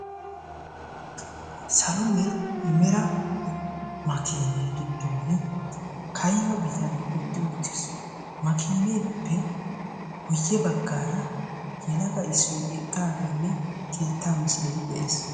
Salo mera makiinee giddon kayma bitanne utti uttiis. Makkiinneppe guyye baggaraa yelaga issoy eqqaagenne keettaa misile de'ees.